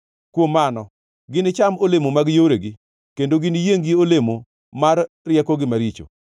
kuom mano ginicham olemo mag yoregi kendo giniyiengʼ gi olemo mar riekogi maricho.